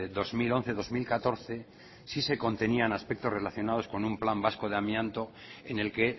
dos mil once dos mil catorce sí se contenían aspectos relacionados con un plan vasco de amianto en el que